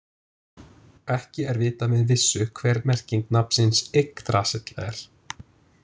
Ekki er vitað með vissu hver merking nafnsins Yggdrasill er.